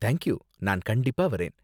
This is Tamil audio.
தேங்க் யூ, நான் கண்டிப்பா வரேன்.